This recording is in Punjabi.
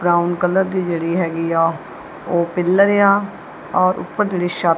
ਬਰਾਊਨ ਕਲਰ ਦੀ ਜਿਹੜੀ ਹੈਗੀ ਆ ਉਹ ਪਿਲਰ ਆ ਔਰ ਉਪਰ ਜਿਹੜੀ ਛਤ--